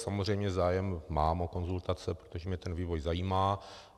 Samozřejmě zájem mám o konzultace, protože mě ten vývoj zajímá.